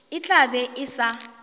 e tla be e sa